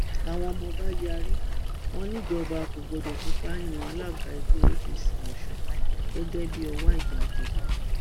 àwọn ọmọọba yarí wọn níjọba kò gbọdọ fipá yan alága ẹgbẹ apc ọsùn gẹgẹ bíi ọwá ìgbàjọ